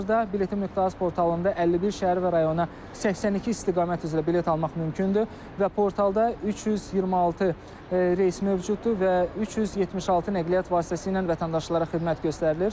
Hazırda biletin.az portalında 51 şəhər və rayona 82 istiqamət üzrə bilet almaq mümkündür və portalda 326 reys mövcuddur və 376 nəqliyyat vasitəsilə vətəndaşlara xidmət göstərilir.